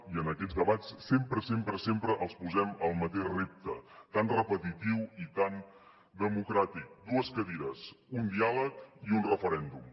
i en aquests debats sempre sempre sempre els posem el mateix repte tan repetitiu i tan democràtic dues cadires un diàleg i un referèndum